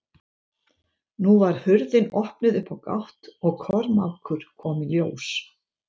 Nú var hurðin opnuð upp á gátt og Kormákur kom í ljós.